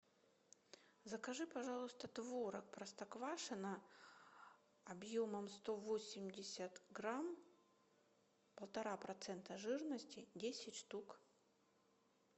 закажи пожалуйста творог простоквашино объемом сто восемьдесят грамм полтора процента жирности десять штук